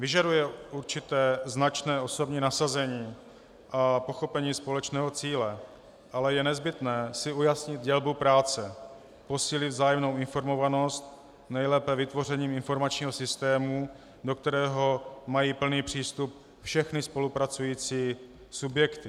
Vyžaduje určité značné osobní nasazení a pochopení společného cíle, ale je nezbytné si ujasnit dělbu práce, posílit vzájemnou informovanost, nejlépe vytvořením informačního systému, do kterého mají plný přístup všechny spolupracující subjekty.